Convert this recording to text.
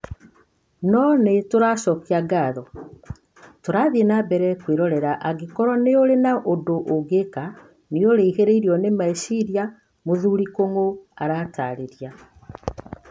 No nĩ tũcokagia ngatho... tũrathiĩ na mbere kwĩhooreria, angĩkorũo nĩ ũrĩ na ũndũ ũngĩka, nĩ ũrihirĩrwo nĩ micĩria", mũthuri Kung'u aratarĩiria.